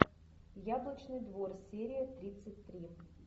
яблочный двор серия тридцать три